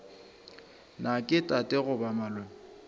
na ke tate goba malome